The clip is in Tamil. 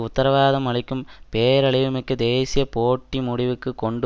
உத்தரவாதம் அளிக்கும் பேரழிவுமிக்க தேசிய போட்டியை முடிவுக்கு கொண்டு